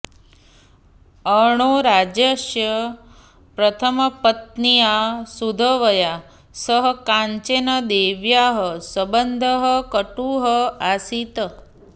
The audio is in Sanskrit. अर्णोराजस्य प्रथमपत्न्या सुधवया सह काञ्चनदेव्याः सम्बन्धः कटुः आसीत्